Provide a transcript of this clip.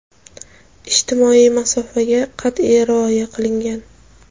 ijtimoiy masofaga qat’iy rioya qilgan.